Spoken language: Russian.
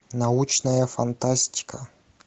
научная фантастика